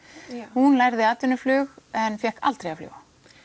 hún lærði en fékk aldrei að fljúga